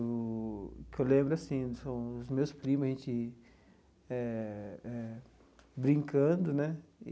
O que eu lembro, assim, são os meus primos, a gente eh eh brincando, né?